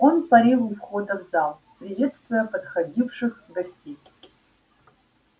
он парил у входа в зал приветствуя подходивших гостей